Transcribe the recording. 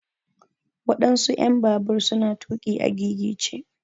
waɗansu en babur su na tuƙi a gigice.